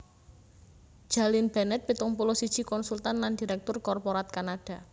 Jalynn Bennett pitung puluh siji konsultan lan diréktur korporat Kanada